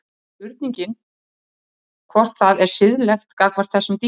Það er spurningin hvort það er siðlegt gagnvart þessum dýrum.